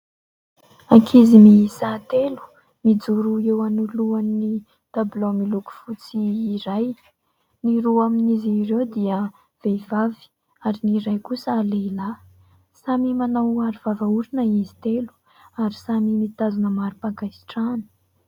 Ankizy miisa telo, mijoro eo anolohan'ny tabilao miloko fotsy iray. Ny roa amin'izy ireo dia vehivavy ary ny iray kosa lehilahy. Samy manao arovava orona izy telo ary samy mitazona marim-pakasitrahana.